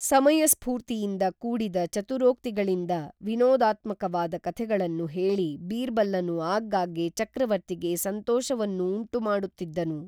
ಸಮಯ ಸ್ಪೂರ್ತಿಯಿಂದ ಕೂಡಿದ ಚತುರೊಕ್ತಿಗಳಿಂದ ವಿನೋದಾತ್ಮಕವಾದ ಕಥೆಗಳನ್ನು ಹೇಳಿ ಬೀರ್ಬಲ್ಲನು ಆಗಾಗ್ಗೇ ಚಕ್ರವರ್ತಿಗೇ ಸಂತೋಷವನ್ನು ಉಂಟು ಮಾಡುತ್ತಿದ್ದನು